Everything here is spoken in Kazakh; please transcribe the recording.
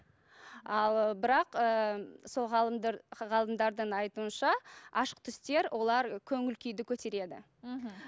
ал бірақ ы сол ғалымдардың айтуынша ашық түстер олар көңіл күйді көтереді мхм